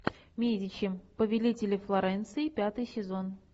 медичи повелители флоренции пятый сезон